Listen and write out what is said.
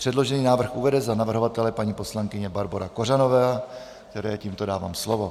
Předložený návrh uvede za navrhovatele paní poslankyně Barbora Kořanová, které tímto dávám slovo.